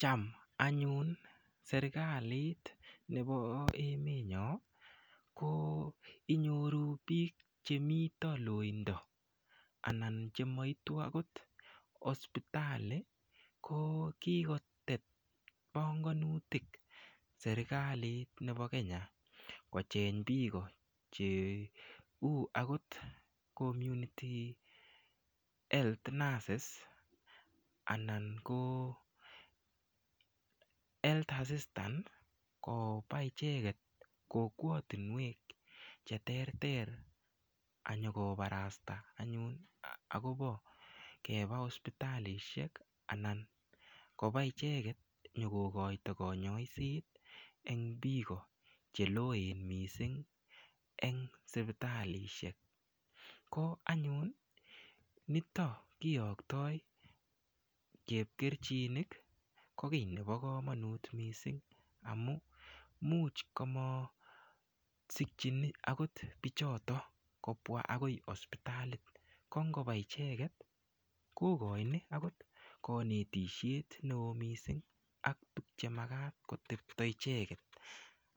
Cham anyun serikalit nebo emet nyo ko inyoru biik chemito loindo anan chemaitu akot hospitali ko kokotet panganutuk serikalit nebo Kenya kocheny biiko che u akot community health nurses anan ko health assistant koba icheket kokwotunwek che ter ter anyokobarasta anyun akobo keba hospitalishek anan koba icheket nyokokoito konyoiset eng biiko cheloen mising ang sipitalishek ko anyun nitok kiyoktoi chepkerchinik ko kiy nebo komonut mising amu muuch kamasikchini akot biichoto kobwa akoi hospitalit kongoba icheket kokoini akot kanetishet neo mising ak tukchemakat kotepto icheket